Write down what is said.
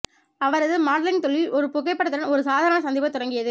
அவரது மாடலிங் தொழில் ஒரு புகைப்படத்துடன் ஒரு சாதாரண சந்திப்பு தொடங்கியது